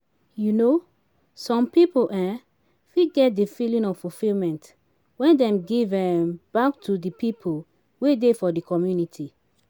um some pipo um fit get di feeling of fulfillment when dem give um back to di people wey dey for di community